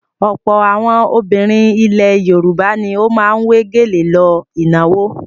Ọ̀pọ̀ àwọn obìnrin ilẹ̀ Yorùbá ni ó máa ń wé gèlè lọ ìnáwó.